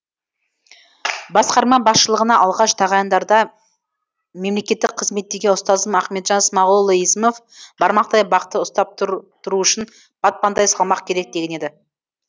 басқарма басшылығына алғаш тағайындарда мемлекеттік қызметтегі ұстазым ахметжан смағұлұлы есімов бармақтай бақты ұстап тұру үшін батпандай салмақ керек деген еді